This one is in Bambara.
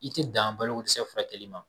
I ti dan balo ko dɛsɛ furakɛli ma